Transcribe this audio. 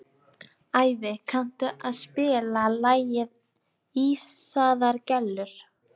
Ævi, kanntu að spila lagið „Ísaðar Gellur“?